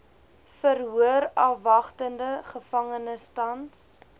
verhoorafwagtende gevangenes tans